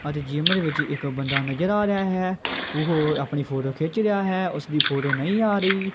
ਅਤੇ ਜਿਮ ਦੇ ਵਿੱਚ ਇੱਕ ਬੰਦਾ ਨਜਰ ਆ ਰਿਹਾ ਹੈ ਉਹ ਆਪਣੀ ਫੋਟੋ ਖਿੱਚ ਰਿਹਾ ਹੈ ਉਸ ਦੀ ਫੋਟੋ ਨਹੀਂ ਆ ਰਹੀ।